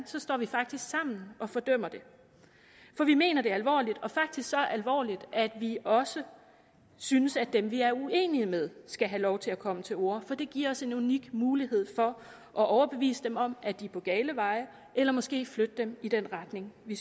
så står vi faktisk sammen og fordømmer det vi mener det alvorligt og faktisk så alvorligt at vi også synes at dem vi er uenige med skal have lov til at komme til orde for det giver os en unik mulighed for at overbevise dem om at de er på gale veje eller måske flytte dem i den retning vi